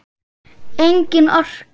Engin orka.